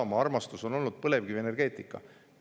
Isamaa armastus on olnud põlevkivienergeetika.